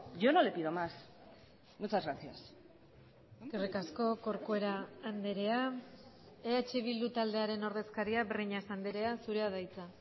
yo no le pido más muchas gracias eskerrik asko corcuera andrea eh bildu taldearen ordezkaria breñas andrea zurea da hitza